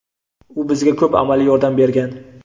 U bizga ko‘p amaliy yordam bergan.